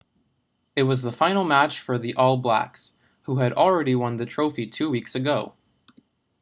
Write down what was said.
it was the final match for the all blacks who had already won the trophy two weeks ago